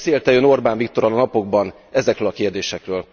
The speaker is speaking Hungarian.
Beszélt e Ön Orbán Viktorral a napokban ezekről a kérdésekről?